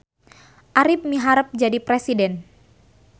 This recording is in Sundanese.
Arip miharep jadi presiden